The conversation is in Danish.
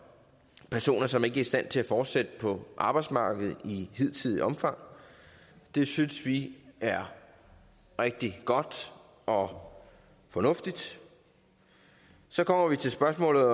personer som ikke er i stand til at fortsætte på arbejdsmarkedet i hidtidigt omfang det synes vi er rigtig godt og fornuftigt så kommer vi til spørgsmålet